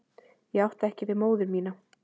Ég átti ekki við móður mína.